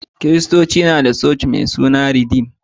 Kiristoci na da coci mai suna ridim